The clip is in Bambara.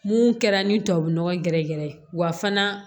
Mun kɛra ni tubabu nɔgɔ gɛrɛgɛrɛ ye wa fana